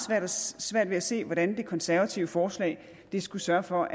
svært ved at se hvordan det konservative forslag skulle sørge for